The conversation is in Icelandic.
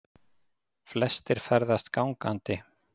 Flestir ferðist gangandi